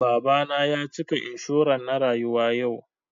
Baba na ya cika inshuran na rayuwa yau